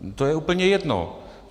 To je úplně jedno.